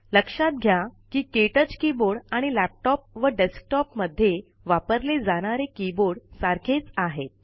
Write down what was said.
लक्षात घ्या कि के टच कीबोर्ड आणि लॅपटॉप व डेस्कटॉप मध्ये वापरले जाणारे कीबोर्ड सारखेच आहेत